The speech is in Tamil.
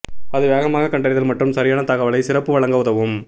அது வேகமாக கண்டறிதல் மற்றும் சரியான தகவலை சிறப்பு வழங்க உதவும்